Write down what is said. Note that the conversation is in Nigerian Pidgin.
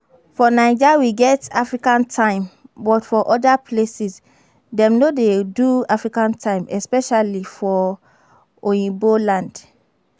For naija we get African time but for oda places dem no dey do African time especially for oyibo land